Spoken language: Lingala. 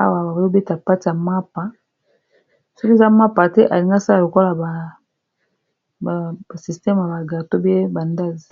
awa baobeta pati ya mappa soki eza mappa te alingi asala lokola basystema baga tobe bandasi